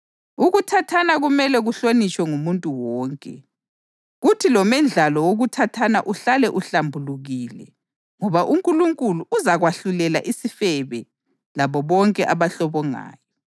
Ukuthathana kumele kuhlonitshwe ngumuntu wonke, kuthi lomendlalo wokuthathana uhlale uhlambulukile ngoba uNkulunkulu uzakwahlulela isifebe labo bonke abahlobongayo.